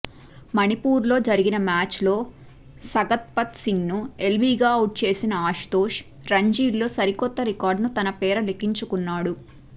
మణిపూర్తో జరిగిన మ్యాచ్లో సగత్పమ్ సింగ్ను ఎల్బీగా అవుట్ చేసిన అశుతోష్ రంజీల్లో సరికొత్త రికార్డును తన పేర లిఖించుకున్నాడు